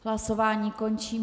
Hlasování končím.